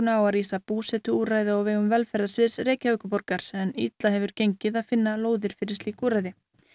á að rísa búsetuúrræði á vegum velferðarsviðs Reykjavíkurborgar en illa hefur gengið að finna lóðir fyrir slík úrræði